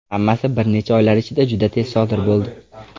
Hammasi bir necha oylar ichida juda tez sodir bo‘ldi.